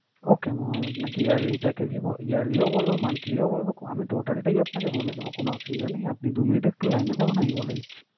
Okay mam আমি আপনাকে yearly package ই ব yearly ও বলবো, monthly ও বলবো, আমি total টাই আপনাকে বলে দেবো কোন অসুবিধা নেই। আপনি দু minute একটু line এ থাকুন আমি বলে দিচ্ছি।